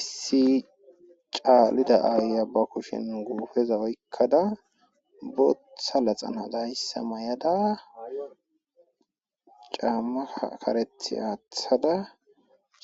issi caalida aaya ba kushin guufeza oykkada botha laxan hadayssa may7ada caamma karethi aathada